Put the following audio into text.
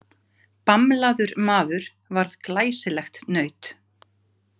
Bamlaður maður varð glæsilegt naut.